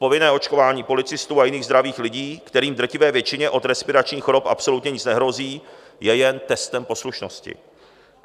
Povinné očkování policistů a jiných zdravých lidí, kterým v drtivé většině od respiračních chorob absolutně nic nehrozí, je jen testem poslušnosti.